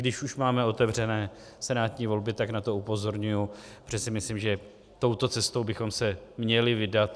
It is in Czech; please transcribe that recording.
Když už máme otevřené senátní volby, tak na to upozorňuji, protože si myslím, že touto cestou bychom se měli vydat.